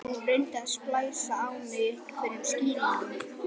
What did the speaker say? Hún reyndi að splæsa á mig einhverjum skýringum.